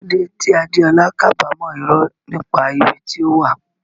Kí ló dé tí Adeola kábàámọ̀ irọ́ nípa ibi tí ó wà?